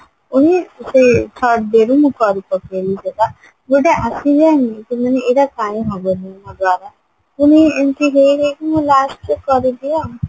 ସେ third dayରେ ମୁଁ କରିପକେଇଲି ସେଟା ଗୋଟେ ଆସିଯାଏନି କି ମାନେ ଏଟା କାହିଁକି ହବନି ମୋ ଦ୍ଵାରା ପୁଣି ଏମତି ହେଇ ହେଇକି ମୁଁ lastକୁ କରିଦିଏ ଆଉ